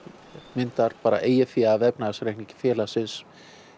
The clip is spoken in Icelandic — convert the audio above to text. myndar bara eigið fé af efnahagsreikningi félagsins